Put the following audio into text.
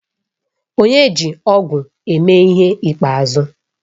Onye ji ọ̀gu eme ihe ikpeazụ?